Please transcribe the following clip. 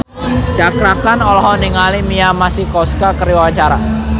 Cakra Khan olohok ningali Mia Masikowska keur diwawancara